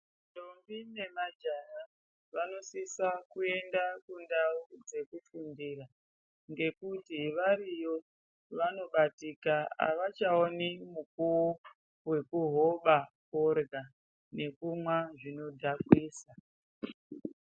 Ndombi nemajaha vanosisa kuenda kundau dzekufundira, ngekuti variyo vanobatika havachaoni mukuwo wekuhoba forya nekumwa zvinodhakwisa.